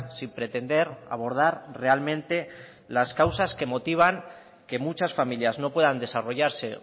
sin pretender abordar realmente las causas que motivan que muchas familias no puedan desarrollarse